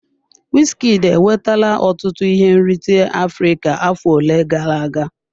Wizkid enwetala ọtụtụ ihe nrite Afrịka afọ ole gara aga.